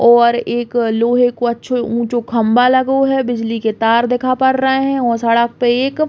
और एक लोहे को अच्छो ऊंचो खम्भा लगो है। बिजली के तार दिखा पड़ रहे हैं और सड़क पे एक --